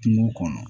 Kungo kɔnɔ